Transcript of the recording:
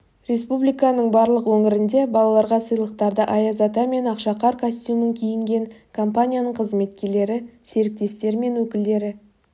республиканың барлық өңірінде балаларға сыйлықтарды аяз ата мен ақшақар костюмін киінген компанияның қызметкерлері серіктестер мен өкілдері